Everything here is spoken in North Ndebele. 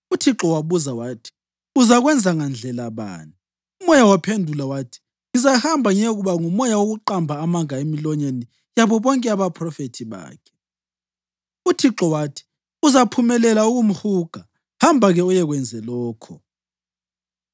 UThixo wabuza wathi, ‘Uzakwenza ngandlela bani?’ Umoya waphendula wathi, ‘Ngizahamba ngiyekuba ngumoya wokuqamba amanga emilonyeni yabo bonke abaphrofethi bakhe.’ UThixo wathi, ‘Uzaphumelela ukumhuga. Hamba-ke uyekwenza lokho.’